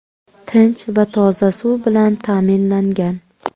Tinch va toza suv bilan ta’minlangan.